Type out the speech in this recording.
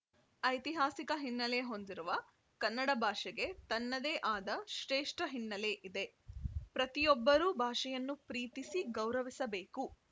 ಐತಿಹಾಸಿಕ ಹಿನ್ನೆಲೆ ಹೊಂದಿರುವ ಕನ್ನಡ ಭಾಷೆಗೆ ತನ್ನದೇ ಆದ ಶ್ರೇಷ್ಠ ಹಿನ್ನೆಲೆ ಇದೆ ಪ್ರತಿಯೊಬ್ಬರೂ ಭಾಷೆಯನ್ನು ಪ್ರೀತಿಸಿ ಗೌರವಿಸಬೇಕು